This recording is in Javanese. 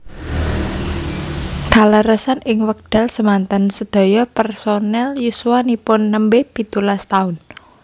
Kaleresan ing wekdal semanten sedaya personel yuswanipun nembe pitulas taun